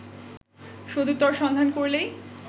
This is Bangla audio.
সদুত্তর সন্ধান করলেই